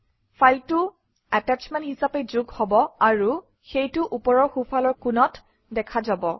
ফাইলটো এটাশ্বমেণ্ট হিচাপে যোগ হব আৰু সেইটো ওপৰৰ সোঁফালৰ কোণত দেখা যাব